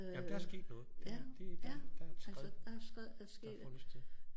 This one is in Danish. Jamen der er sket noget der det der er et skred der har fundet sted